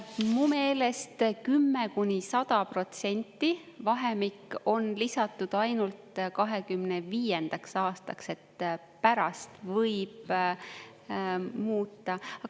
Mu meelest 10–100% vahemik on lisatud ainult 25. aastaks, pärast võib muuta.